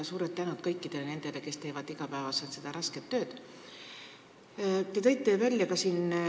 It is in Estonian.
Suur tänu kõikidele nendele, kes iga päev seda rasket tööd teevad!